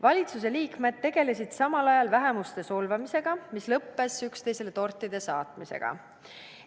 Valitsuse liikmed tegelesid samal ajal vähemuste solvamisega, mis lõppes üksteisele tortide saatmisega.